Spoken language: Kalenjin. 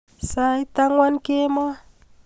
Sait ang'wan kemboi.